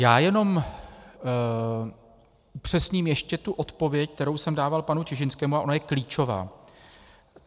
Já jenom upřesním ještě tu odpověď, kterou jsem dával panu Čižinskému, a ona je klíčová.